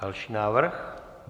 Další návrh.